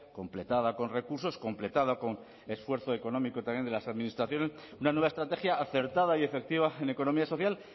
completada con recursos completada con esfuerzo económico también de las administraciones una nueva estrategia acertada y efectiva en economía social